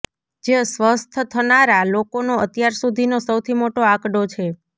જે સ્વસ્થ્ય થનારા લોકોનો અત્યાર સુધીનો સૌથી મોટો આંકડો છે